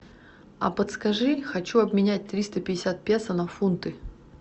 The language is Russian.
а подскажи хочу обменять триста пятьдесят песо на фунты